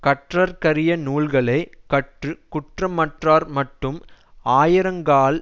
கற்றற்கரிய நூல்களை கற்று குற்றமற்றார்மட்டும் ஆயுரங்கால்